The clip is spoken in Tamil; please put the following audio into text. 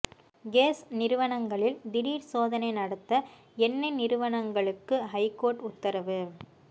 கேஸ் நிறுவனங்களில் திடீர் சோதனை நடத்த எண்ணெய் நிறுவனங்களுக்கு ஐகோர்ட் உத்தரவு